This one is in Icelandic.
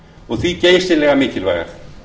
og því geysilega mikilvægar